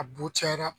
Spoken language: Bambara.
A bu cayara